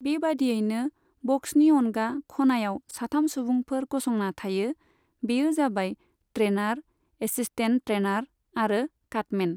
बेबायदियैनो, बक्सनि अनगा खनायाव साथाम सुबुंफोर गसंना थायो, बेयो जाबाय ट्रेनार, एसिस्टेन्ट ट्रेनार आरो काटमेन।